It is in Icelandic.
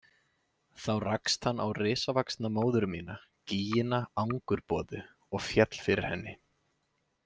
Þá rakst hann á risavaxna móður mína, gýgina Angurboðu, og féll fyrir henni.